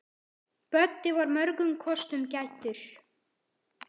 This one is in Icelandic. Böddi var mörgum kostum gæddur.